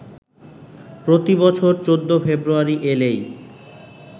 প্রতি বছর ১৪ ফেব্রুয়ারি এলেই